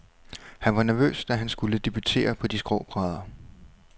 Han var nervøs, da han skulle debutere på de skrå brædder.